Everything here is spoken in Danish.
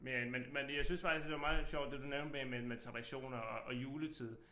Men men men jeg synes faktisk det var meget sjovt det du nævnte med med med traditioner og og juletid